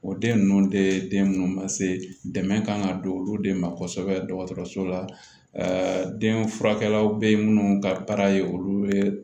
O den ninnu de den munnu ma se dɛmɛ kan ka don olu de ma kosɛbɛ dɔgɔtɔrɔso la den furakɛlaw be yen munnu ka baara ye olu ye